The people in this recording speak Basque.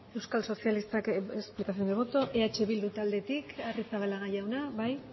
euskal sozialistak es explicación de voto eh bildutik agirrezabala jauna bai